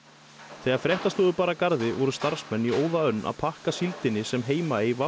þegar fréttastofu bar að garði voru starfsmenn í óðaönn að pakka fyrstu síldinni sem Heimaey